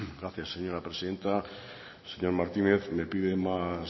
gracias señora presidenta señor martínez me pide más